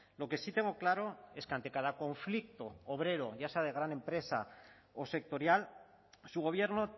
lo que sí tengo claro es que ante cada conflicto obrero ya sea de gran empresa o sectorial su gobierno